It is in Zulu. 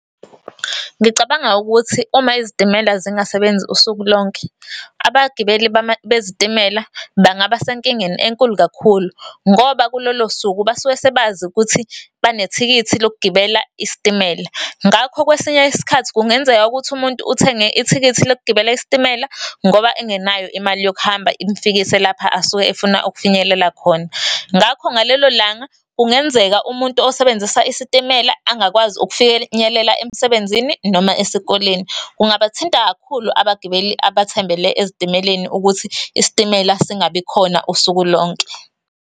Ngicabanga ukuthi uma izitimela zingasebenzi usuku lonke, abagibeli bezitimela bangaba senkingeni enkulu kakhulu ngoba kulolo suku basuke sebazi ukuthi banethikithi lokugibela isitimela. Ngakho kwesinye isikhathi kungenzeka ukuthi umuntu uthenge ithikithi lokugibela isitimela ngoba engenayo imali yokuhamba imfikise lapha asuke efuna ukufinyelela khona. Ngakho ngalelo langa kungenzeka umuntu osebenzisa isitimela angakwazi ukufinyelela emsebenzini noma esikoleni. Kungabathinta kakhulu abagibeli abathembele ezitimeleni ukuthi isitimela singabikhona usuku lonke.